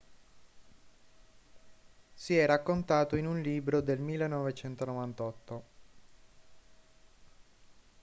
si è raccontato in un libro del 1998